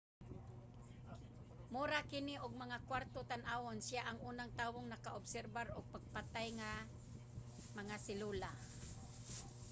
mura kini og mga kwarto tan-awon. siya ang unang tawong naka-obserbar og patayng mga selula